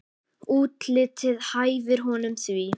Útlitið hæfir honum því.